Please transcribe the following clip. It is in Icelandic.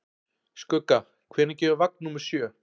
Skugga, hvenær kemur vagn númer sjö?